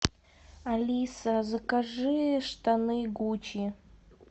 алиса закажи штаны гуччи